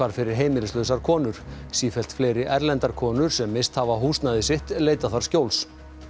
fyrir heimilislausar konur sífellt fleiri erlendar konur sem misst hafa húsnæði sitt leita þar skjóls